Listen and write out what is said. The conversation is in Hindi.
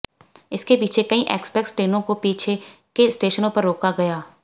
इसके पीछे कई एक्सप्रेस ट्रेनों को पीछे के स्टेशनों पर रोका गया